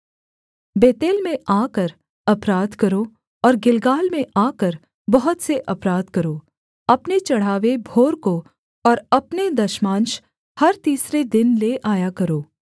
बेतेल में आकर अपराध करो और गिलगाल में आकर बहुत से अपराध करो अपने चढ़ावे भोर को और अपने दशमांश हर तीसरे दिन ले आया करो